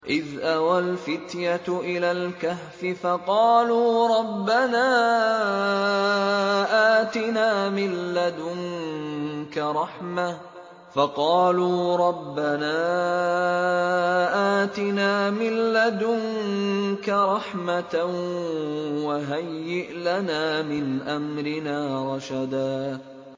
إِذْ أَوَى الْفِتْيَةُ إِلَى الْكَهْفِ فَقَالُوا رَبَّنَا آتِنَا مِن لَّدُنكَ رَحْمَةً وَهَيِّئْ لَنَا مِنْ أَمْرِنَا رَشَدًا